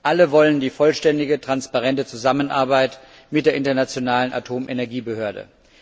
Alle wollen die vollständige, transparente Zusammenarbeit mit der Internationalen Atomenergiebehörde.